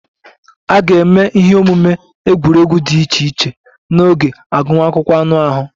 A ga-eme ihe omume egwuregwu dị iche iche n'oge agụmakwụkwọ anụ ahụ